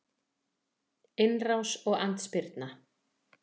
Innrás og andspyrna